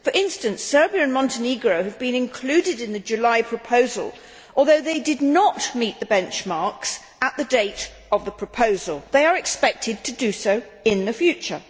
For instance, Serbia and Montenegro have been included in the July proposal although they did not meet the benchmarks at the date of the proposal, they are expected to do so in the future.